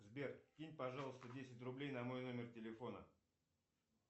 сбер кинь пожалуйста десять рублей на мой номер телефона